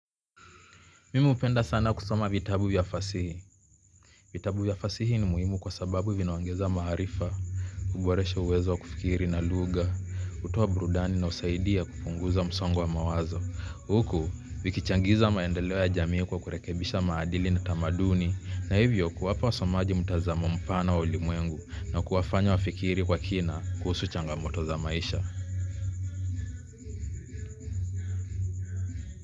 Mimi hupenda sana kusoma vitabu ya fasihi. Vitabu ya fasihi ni muhimu kwa sababu vinaongeza maarifa, huboresha uwezo wa kufikiri na lugha, hutoa burudani na husaidia kupunguza msongo wa mawazo, huku vikichangiza maendeleo ya jamii kwa kurekebisha maadili na tamaduni na hivyo kuwapa wasomaji mtazamo mpana wa ulimwengu na kuwafanya wafikiri kwa kina kuhusu changamoto za maisha.